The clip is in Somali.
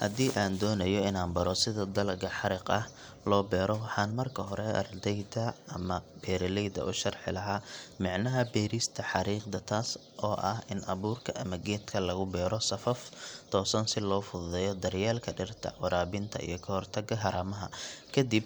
Haddii aan doonayo inaan baro sida dalagga xariiq ah loo beero waxaan marka hore ardayda ama beeraleyda u sharxi lahaa micnaha beerista xariiqda taas oo ah in abuurka ama geedka lagu beero safaf toosan si loo fududeeyo daryeelka dhirta, waraabinta iyo ka hortagga haramaha kadib